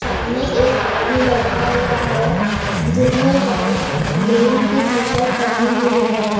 सामने एक आदमी बैठा हुआ हैं जिसने व्हाईट ग्रीन की टीशर्ट पेहनी हुई है।